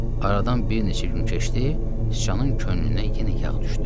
Aradan bir neçə gün keçdi, sıçanın könlünə yenə yağ düşdü.